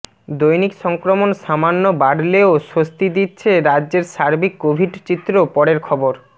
দৈনিক সংক্রমণ সামান্য বাড়লেও স্বস্তি দিচ্ছে রাজ্যের সার্বিক কোভিড চিত্র পরের খবর